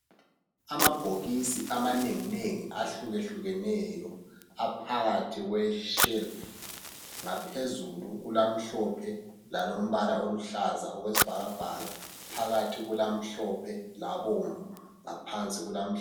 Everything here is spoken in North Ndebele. Amabhokisi amanenginengi ahlukehlukeneyo aphakathi kwe shelufu. Ngaphezulu kulamhlophe lalombala oluhlaza okwesibhakabhaka. Phakathi kulamhlophe labomvu ngaphansi kulaluhlaza.